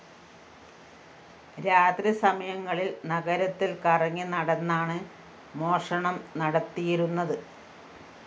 രാത്രി സമയങ്ങളില്‍ നഗരത്തില്‍ കറങ്ങി നടന്നാണ് മോഷണം നടത്തിയിരുന്നത്